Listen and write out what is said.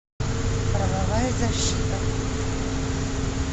правовая защита